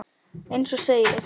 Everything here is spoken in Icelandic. Eins og segir.